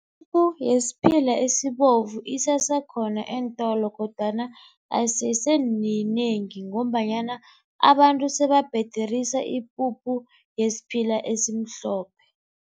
Yesiphila esibovu isesekhona eentolo kodwana ayiseseminengi ngombanyana abantu sebabhederisa ipuphu yesiphila esimhlophe.